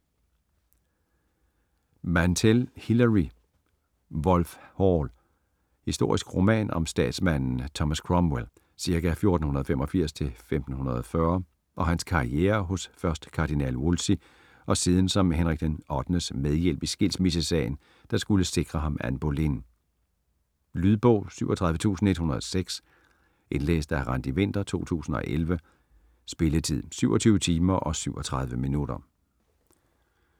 Mantel, Hilary: Wolf Hall Historisk roman om statsmanden Thomas Cromwell (ca. 1485-1540) og hans karriere hos først kardinal Wolsey og siden som Henrik VIII's medhjælp i skilsmissesagen, der skulle sikre ham Anne Boleyn. Lydbog 37106 Indlæst af Randi Winther, 2011. Spilletid: 27 timer, 37 minutter.